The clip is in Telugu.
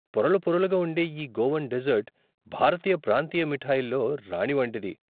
పొరలు పొరలుగా ఉండే ఈ గోవన్ డెజర్ట్ భారతీయ ప్రాంతీయ మిఠాయిల్లో రాణి వంటిది.